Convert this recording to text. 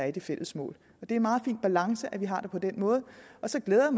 i de fælles mål det er en meget fin balance at vi har det på den måde så glæder